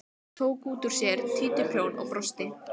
Tók út úr sér títuprjón og brosti.